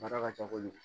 Baara ka ca kojugu